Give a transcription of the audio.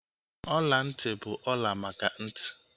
Ọla ntị bụ ọla maka ntị